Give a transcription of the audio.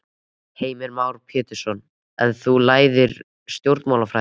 Heimir Már Pétursson: En þú lærðir stjórnmálafræði?